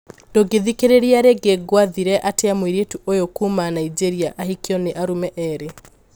Ndũngithikereria rĩngĩ gwathire atia mũiritu ũyũ kuuma Nigeria akihikio ni arũme eri?